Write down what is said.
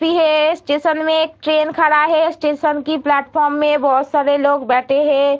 भी है | स्टेशन में एक ट्रैन खड़ा है | स्टेशन की प्लेटफार्म में बहुत सारे लोग बैठे हैं |